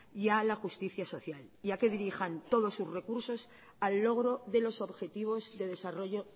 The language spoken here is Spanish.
y a la justicia social y a que dirijan todos sus recursos al logro de los objetivos de desarrollo